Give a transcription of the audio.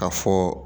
Ka fɔ